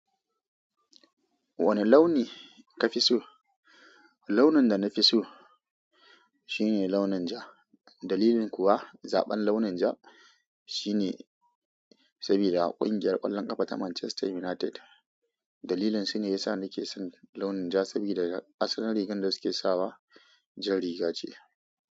Wane launi kafi so? Launin da nafi so shine launin ja. Dalilin kuwa zaɓan launin ja shine sabida ƙungiyar ƙwallon ƙafa ta Manchester United. Dalilin su ne yasa na ke son launin ja sabida asalin rigar da su ke sawa jar riga ce.